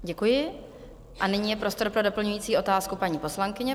Děkuji a nyní je prostor pro doplňující otázku paní poslankyně.